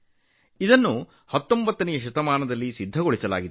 ಇದನ್ನು 19 ನೇ ಶತಮಾನದಲ್ಲಿ ಸಿದ್ಧಪಡಿಸಲಾಯಿತು